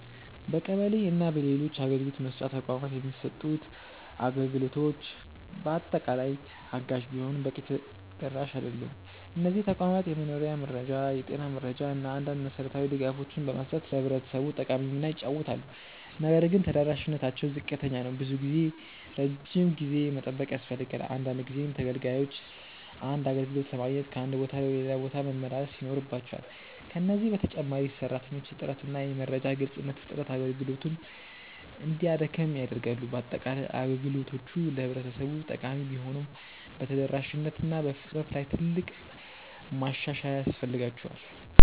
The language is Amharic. በቀበሌ እና በሌሎች አገልግሎት መስጫ ተቋማት የሚሰጡት አገልግሎቶች በአጠቃላይ አጋዥ ቢሆኑም በቂ ተደራሽ አይደሉም። እነዚህ ተቋማት የመኖሪያ መረጃ፣ የጤና መረጃ እና አንዳንድ መሠረታዊ ድጋፎችን በመስጠት ለህብረተሰቡ ጠቃሚ ሚና ይጫወታሉ። ነገር ግን ተደራሽነታቸው ዝቅተኛ ነው። ብዙ ጊዜ ረጅም ጊዜ መጠበቅ ያስፈልጋል፣ አንዳንድ ጊዜም ተገልጋዮች አንድ አገልግሎት ለማግኘት ከአንድ ቦታ ወደ ሌላ መመላለስ ይኖርባቸዋል። ከዚህ በተጨማሪ የሰራተኞች እጥረት እና የመረጃ ግልጽነት እጥረት አገልግሎቱን እንዲያደክም ያደርጋሉ። በአጠቃላይ፣ አገልግሎቶቹ ለህብረተሰቡ ጠቃሚ ቢሆኑም በተደራሽነት እና በፍጥነት ላይ ትልቅ ማሻሻያ ያስፈልጋቸዋል።